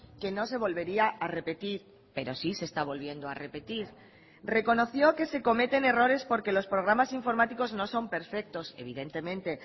que no se volvería a repetir pero sí se está volviendo a repetir reconoció que se cometen errores porque los programas informáticos no son perfectos evidentemente